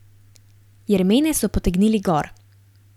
Jermene so potegnili gor.